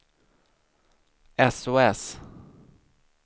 sos